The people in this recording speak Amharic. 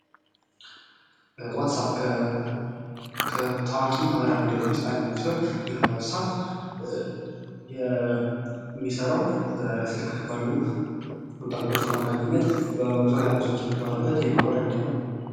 ዋትስአፕ ከታዋቂ ማህበራዊ ሚድያዎች ዉስጥ አንደኛው ሲሆን ይህ ዋትስአፕ የሚሰራው በስልክ ባሉ ኮንታክቶች አማካኝነት በዙርያ ያሉት ሰዎች የምታወራበት የማህበራዊ ሚዲያ ነው::